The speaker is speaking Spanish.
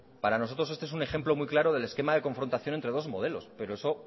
para nosotros este es un ejemplo muy claro del esquema de confrontación entre dos modelos pero eso